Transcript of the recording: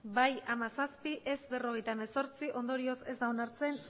bai hamazazpi ez berrogeita hemezortzi ondorioz ez da onartzen